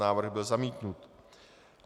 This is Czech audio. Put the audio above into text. Návrh byl zamítnut.